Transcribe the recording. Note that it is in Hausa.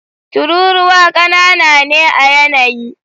Tururuwa ƙanana ne a yanayi.